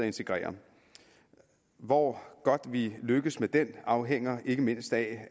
integrere hvor godt vi lykkes med den afhænger ikke mindst af at